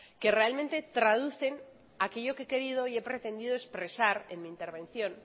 que realmente traducen aquello que he querido y he pretendido expresar en mi intervención